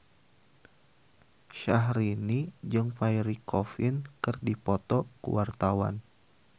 Syahrini jeung Pierre Coffin keur dipoto ku wartawan